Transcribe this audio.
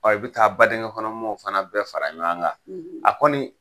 i bɛ taa badingɛn kɔnɔ mɔgɔww fana bɛɛ fara ɲɔgɔn kan. . A kɔni